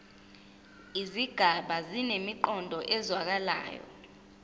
izigaba zinemiqondo ezwakalayo